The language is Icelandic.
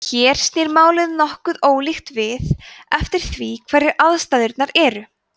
hér snýr málið nokkuð ólíkt við eftir því hverjar aðstæðurnar eru